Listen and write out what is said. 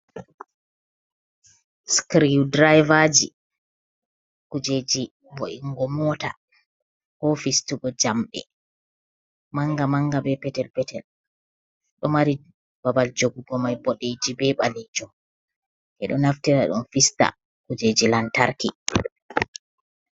Skriw draivaji kujeji vo’ingo mota, ko fistugo jamɗe manga-manga, be petel-petel. Ɗo mari babal jogugo mai boɗeejum be ɓaleejum. Ɓe ɗo naftira dum fista kujeji lantarki.